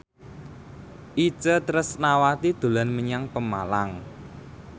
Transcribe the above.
Itje Tresnawati dolan menyang Pemalang